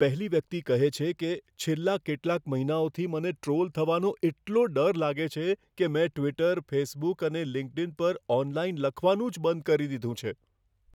પહેલી વ્યક્તિ કહે છે કે, છેલ્લા કેટલાક મહિનાઓથી મને ટ્રૉલ થવાનો એટલો ડર લાગે છે કે મેં ટ્વિટર, ફેસબુક અને લિંક્ડઈન પર ઓનલાઈન લખવાનું જ બંધ કરી દીધું છે.